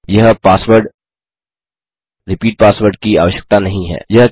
यह password repeat password की आवश्यकता नहीं है